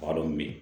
Maa dɔ bɛ yen